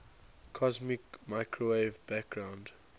cosmic microwave background